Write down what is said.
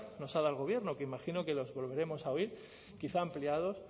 nos ha dado el gobierno que imagino que los volveremos a oír quizá ampliados